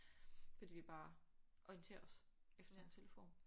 Fordi vi bare orienterer os efter en telefon